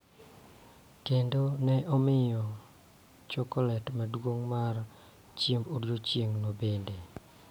Kendo ne omiya chokolet maduong� mar chiemb odiochieng' bende.